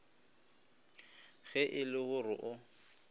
ge e le gore o